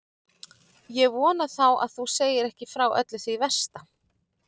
Ég vona þá að þú segir ekki frá öllu því versta.